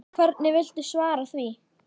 Hvernig viltu svara því?